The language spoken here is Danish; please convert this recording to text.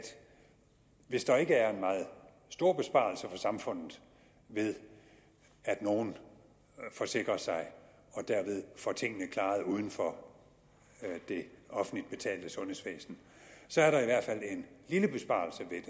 hvis der ikke er en meget stor besparelse for samfundet ved at nogle forsikrer sig og derved får tingene klaret uden for det offentligt betalte sundhedsvæsen så er der i hvert fald en lille besparelse ved